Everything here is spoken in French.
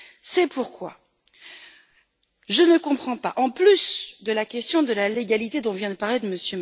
C'est pourquoi je ne comprends pas, en plus de la question de la légalité dont vient de parler M.